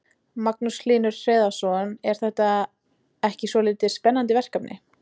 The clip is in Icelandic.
Magnús Hlynur Hreiðarsson: Er þetta ekki svolítið spennandi verkefni?